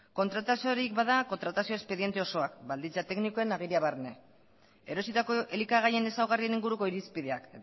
kontratazioarik bada kontratazio espediente osoak baldintza teknikoen ageria barne erositako elikagaien ezaugarrien inguruko irizpideak